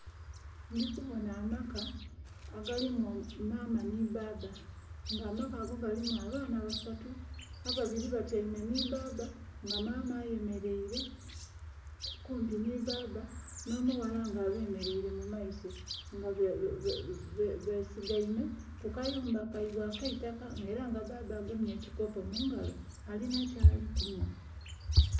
Ndhi kubonha amaka agalimu maama nhi bbaabba nga amaka ago gali abaana basatu. Abaana ababiri batyeime nhi bbaabba nga maama aye mereire kumpi nhi bbaabba nho mughala nga abemereire mumaiso nga besigeime mumayumba kaibwe akeitaka nga era bbaabba agemye ekikopo mungalo ali nhikyali kunhwa